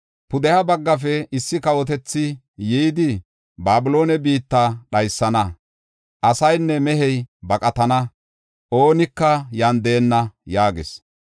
Pudeha baggafe issi kawotethi yidi, Babiloone biitta dhaysana. Asaynne mehey baqatana; oonika yan deenna’ ” yaagis.